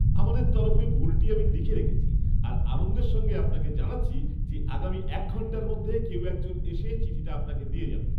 আমাদের তরফে ভুলটি আমি লিখে রেখেছি, আর আনন্দের সঙ্গে আপনাকে জানাচ্ছি যে, আগামী এক ঘণ্টার মধ্যে কেউ এক জন এসে চিঠিটা আপনাকে দিয়ে যাবে।